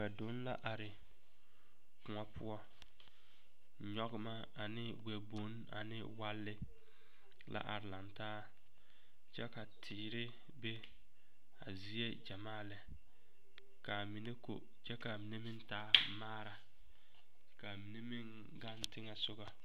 Wɛdonne la are kõɔ poɔ nyɔgema ane wɛboŋo ane walli la are laŋ taa kyɛ ka teere be a zie gyamaa lɛ ka a mine ko kyɛ ka a mine taa maara ka a mine meŋ gaŋ teŋɛ sɔga.